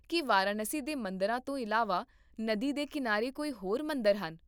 ਕੀ ਵਾਰਾਣਸੀ ਦੇ ਮੰਦਰਾਂ ਤੋਂ ਇਲਾਵਾ ਨਦੀ ਦੇ ਕਿਨਾਰੇ ਕੋਈ ਹੋਰ ਮੰਦਰ ਹਨ?